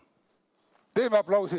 Teeme aplausi!